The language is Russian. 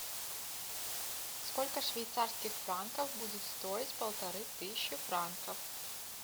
сколько швейцарских франков будет стоить полторы тысячи франков